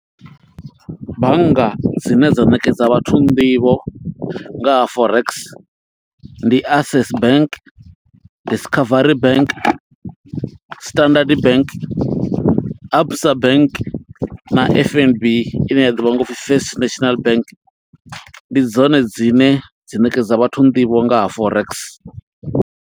Bannga dzine dza ṋekedza vhathu nḓivho nga ha forex, ndi Access bank, Discovery bank, na Standard bank, Absa bank, na F_N_B ine ya ḓivhiwa nga upfi First National Bank. Ndi dzone dzine dza ṋekedza vhathu nḓivho, nga ha Forex.